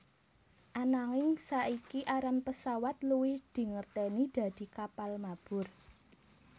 Ananging saiki aran pesawat luwih dingerteni dadi kapal mabur